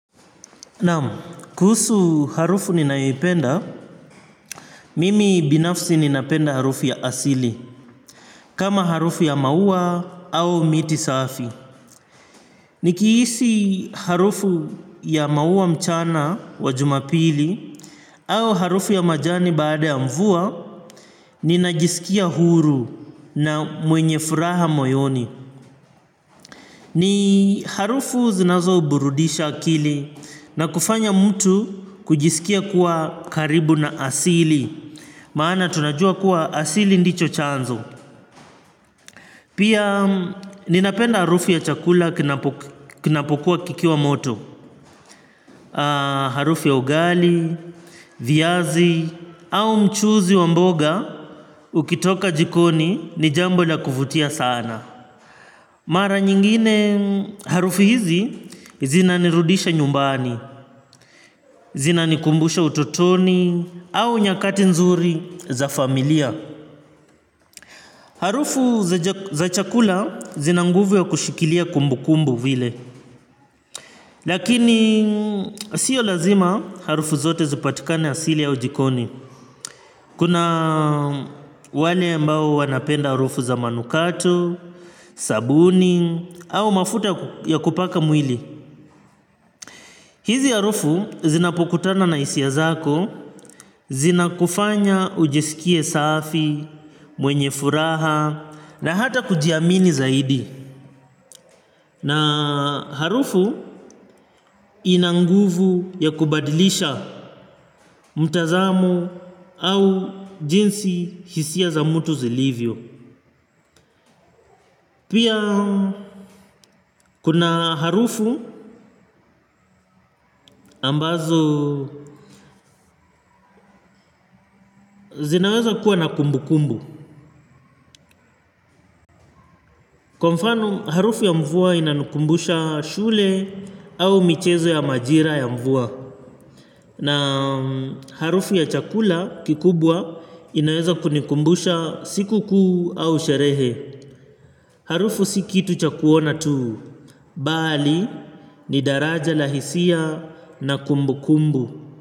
Naam, kuhusu harufu ninayoipenda, mimi binafsi ninapenda harufu ya asili, kama harufu ya maua au miti safi. Nikihisi harufu ya maua mchana wa jumapili au harufu ya majani baada ya mvua, ninajisikia huru na mwenye furaha moyoni. Ni harufu zinazoburudisha akili na kufanya mtu kujisikia kuwa karibu na asili. Maana tunajua kuwa asili ndicho chanzo. Pia ninapenda harufu ya chakula kinapokuwa kikiwa moto. Harufu ya ugali, viazi au mchuzi wa mboga ukitoka jikoni ni jambo la kuvutia sana. Mara nyingine harufu hizi zinanirudisha nyumbani, zinanikumbusha utotoni, au nyakati nzuri za familia. Harufu za chakula zina nguvu ya kushikilia kumbukumbu vile. Lakini sio lazima harufu zote zipatikane asili au jikoni. Kuna wale ambao wanapenda harufu za manukato, sabuni, au mafuta ya kupaka mwili. Hizi harufu zinapokutana na hisia zako, zinakufanya ujisikie safi, mwenye furaha, na hata kujiamini zaidi. Na harufu ina nguvu ya kubadilisha mtazamo au jinsi hisia za mtu zilivyo. Pia, kuna harufu ambazo zinaweza kuwa na kumbukumbu. Kwa mfano harufu ya mvua inanikumbusha shule au michezo ya majira ya mvua. Na harufu ya chakula kikubwa inaweza kunikumbusha siku kuu au sherehe. Harufu sibkitu cha kuona tuu, bali ni daraja la hisia na kumbukumbu.